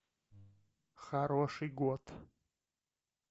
хороший год